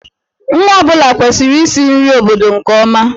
Nwa ọ bụla kwesịrị isi nri obodo nke ọma.